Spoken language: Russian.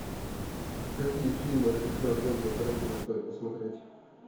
какие фильмы режиссера квентина тарантино стоит посмотреть